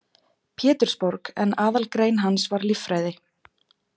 Pétursborg, en aðalgrein hans var líffræði.